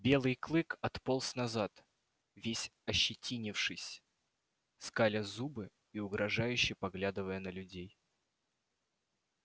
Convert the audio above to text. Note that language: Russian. белый клык отполз назад весь ощетинившись скаля зубы и угрожающе поглядывая на людей